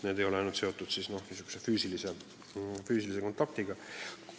Need nõuanded ei eelda üksnes füüsilist kontakti.